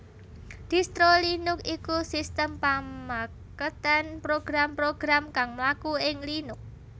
Distro Linux iku sistem pamakètan program program kang mlaku ing Linux